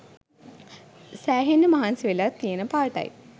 සෑහෙන්න මහන්සි වෙලා තියෙන පාටයි.